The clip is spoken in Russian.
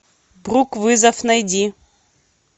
брук вызов найди